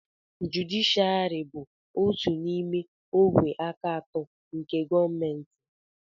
jụdịshịàrị bụ otu n'ime ògwè aka atọ nke gọọmentị